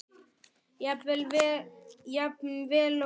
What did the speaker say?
Jafn vel og hún?